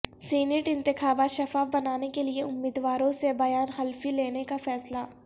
senate انتخابات شفاف بنانے کیلئے امیدواروں سے بیان حلفی لینے کا فیصلہ